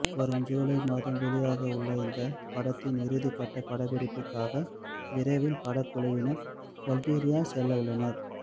வரும் ஜூலை மாதம் வெளியாகவுள்ள இந்த படத்தின் இறுதிக்கட்ட படப்பிடிப்புக்காக விரைவில் படக்குழுவினர் பல்கேரியா செல்லவுள்ளனர்